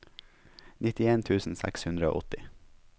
nittien tusen seks hundre og åtti